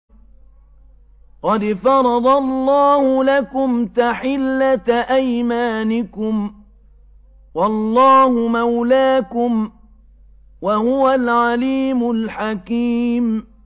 قَدْ فَرَضَ اللَّهُ لَكُمْ تَحِلَّةَ أَيْمَانِكُمْ ۚ وَاللَّهُ مَوْلَاكُمْ ۖ وَهُوَ الْعَلِيمُ الْحَكِيمُ